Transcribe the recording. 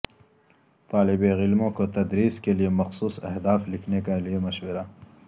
طالب علموں کو تدریس کے لئے مخصوص اہداف لکھنے کے لئے مشورہ